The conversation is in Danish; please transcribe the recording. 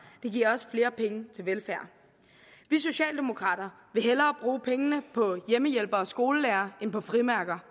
den giver også flere penge til velfærd vi socialdemokrater vil hellere bruge pengene på hjemmehjælpere og skolelærere end på frimærker